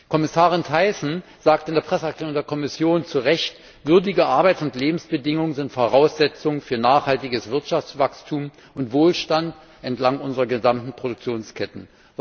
Kommissarin Thyssen sagte in der Presseerklärung der Kommission zu Recht Würdige Arbeits und Lebensbedingungen sind Voraussetzung für nachhaltiges Wirtschaftswachstum und Wohlstand entlang unserer gesamten Produktionsketten.